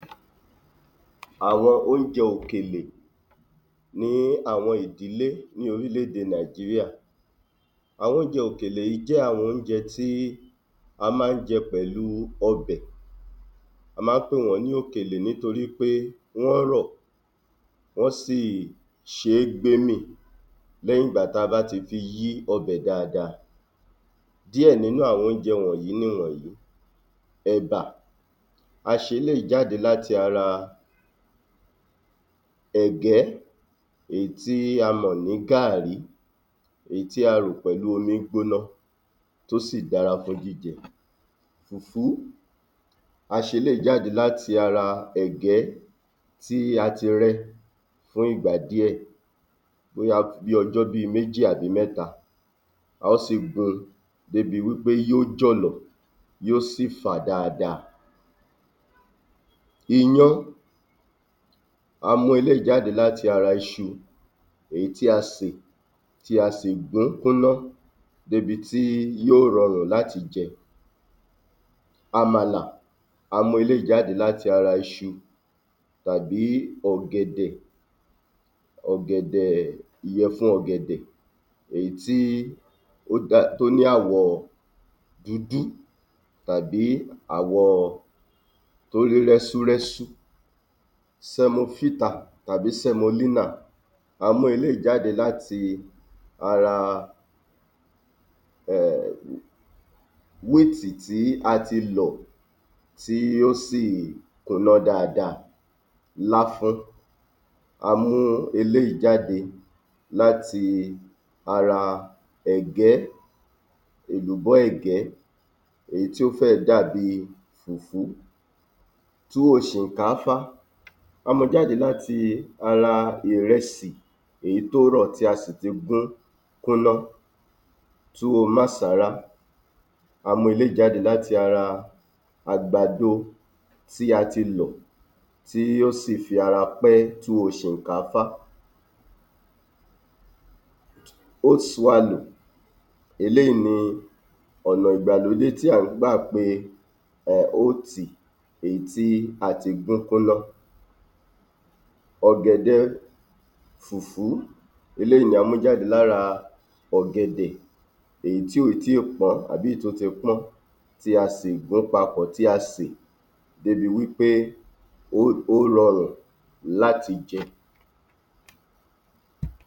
Àwọn oúnjẹ òkèlè ní àwọn ìdílé ní orílẹ̀-èdè Nàìjíríà Àwọn oúnjẹ òkèlè yìí jẹ́ àwọn oúnjẹ tí a máa ń jẹ pẹ̀lú ọbẹ̀. A máa ń pè wọ́n ní òkèlè nítorí pé wọ́n rọ̀ wọ́n sì ṣe é gbé mìn lẹ́yìn ìgbà tí a bá ti fi yí ọbẹ̀ dáadáa. Díẹ̀ nínú àwọn oúnjẹ wọ̀nyìí nìwọ̀nyí: ẹ̀bà; a ṣe eléyìí jáde láti ara ẹ̀gẹ́ èyí tí a mọ̀ ní gààrí èyí tí a rò pẹ̀lú omi ígbónà tó sì dára fún jíjẹ. Fùfú, a ṣe eléyìí jáde láti ara ẹ̀gẹ́ tí a ti rẹ fún ìgbà díẹ̀ ó wá ku bí ọjọ́ bi méjì àbí mẹ́ta A ó sì gun débi wí pé yóò jọ̀lọ̀ yóò sì fà dáadáa. Iyán; a mú eléyìí jáde láti ara iṣu èyí tí a sè tí a sì gún kúnná débi tí yóò rọrùn láti jẹ. Àmàlà; a mú eléyìí jáde láti iṣu tàbí ọ̀gẹ̀dẹ̀, ọ̀gẹ̀dẹ̀, ìyẹ̀fun ọ̀gẹ̀dẹ̀ èyí tí ó dá tó ní àwọ̀ dúdú tàbí àwọ̀ tó rí rẹ́súrẹ́sú Sẹmofítà tàbí sẹmolínà a mú eléyìí jáde láti ara [ẹ̀m…] wíìtì tí a ti lọ̀ tí yóò sì kúnná dáadáa. Láfún; a mú eléyìí jáde láti ara ẹ̀gẹ́. Èlùbọ́ ẹ̀gẹ́ èyí tí ó fẹ́ dàbí fùfú. Túwó ṣìnkáfá; a mu jáde láti ara ìrẹsì èyí tó rọ̀ tí a sì ti gún kúnná. Túwó másàra; a mú eléyìí jáde láti ara àgbàdo tí a ti lọ̀ tí yóò sì fi ara pẹ́ túwó ṣìkánfá. Hóòtì súwálò (Oat swallow); eléyìí ni ọ̀nà ìgbàlódé tí à ń gbà pe [ẹm…] hóòtì èyí tí a ti gún kúnná. Ọ̀gẹ̀dẹ̀ fùfú; eléyìí ni a mú jáde lára ọ̀gẹ̀dẹ̀ èyí tí ò tí ì pọ́n àbí èyí tó ti pọ́n tí a sì gún papọ̀ tí a sè débi wí pé [ó…] ó rọrùn láti jẹ.